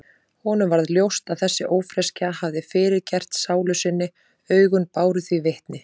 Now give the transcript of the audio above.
Honum varð ljóst að þessi ófreskja hafði fyrirgert sálu sinni, augun báru því vitni.